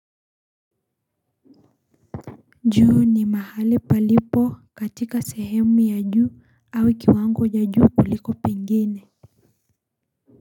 Juu ni mahali palipo katika sehemu ya juu au kiwango ya juu kuliko pengine.